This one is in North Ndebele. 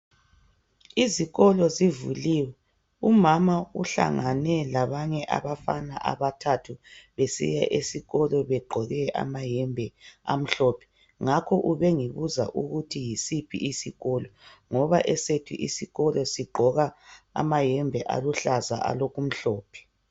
Izikolo zivuliwe umama uhlangane labanye abafana abathathu besiya esikolo begqoke amayembe amhlophe ngakho ubengibuza ukuthi yisiphi isikolo ngoba esethu isikolo sigqoka amayembe aluhlaza alokumhlophe